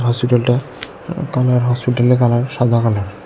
হসপিটালটা কালার হসপিটালের কালার সাদা কালার ।